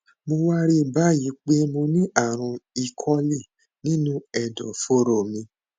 mo wá rí i báyìí pé mo ní ààrùn ecoli nínú ẹdọfóró mi